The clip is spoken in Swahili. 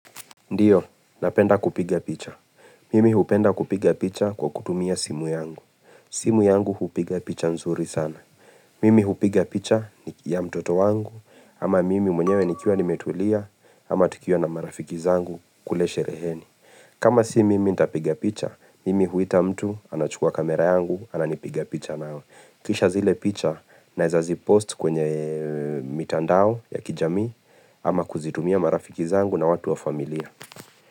Ndiyo, napenda kupiga picha. Mimi hupenda kupiga picha kwa kutumia simu yangu. Simu yangu hupiga picha nzuri sana. Mimi hupiga picha ya mtoto wangu, ama mimi mwenyewe nikiwa nimetulia, ama tukuwa na marafiki zangu kule shereheni kama si mimi ntapiga picha, mimi huita mtu anachukua kamera yangu ananipiga picha nayo. Kisha zile picha naeza zipost kwenye mitandao ya kijamii, ama kuzitumia marafiki zangu na watu wa familia.